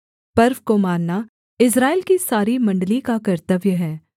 पर्व को मानना इस्राएल की सारी मण्डली का कर्तव्य है